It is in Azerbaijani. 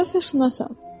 Mən coğrafiyaçıyam.